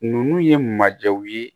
Ninnu ye majɛnw ye